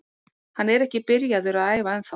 Hann er ekki byrjaður að æfa ennþá.